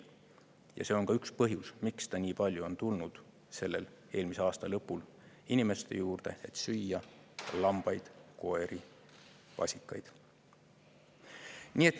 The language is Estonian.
Ja see on ka üks põhjus, miks ta nii palju on tulnud eelmise aasta lõpul inimeste juurde, et süüa lambaid, koeri, vasikaid.